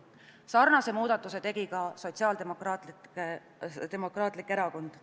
Sarnase muudatuse tegi ka Sotsiaaldemokraatlik Erakond.